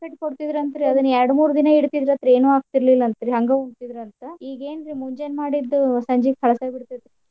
ಕಟ್ಟ್ ಕೊಡ್ತಿದ್ರ ಅಂತ್ರಿ ಅದ್ನ ಎರ್ಡ್ ಮೂರ್ ದಿನಾ ಇಡ್ತಿದ್ರ ಅಂತ್ರಿ ಏನು ಆಗ್ತಿರ್ಲಿಲ್ಲ ಅಂತ್ರಿ ಹಂಗ ಉಂತಿದ್ರ ಅಂತ. ಈಗೇನ್ರಿ ಮುಂಜಾನ್ ಮಾಡಿದ್ದು ಸಂಜೀಕ್ ಹಳ್ಸೆ ಬಿಡ್ತೈತಿ.